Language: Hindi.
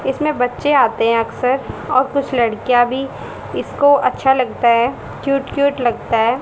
इसमें बच्चे आते हैं अक्सर और कुछ लड़कियां भी इसको अच्छा लगता है क्यूट क्यूट लगता है।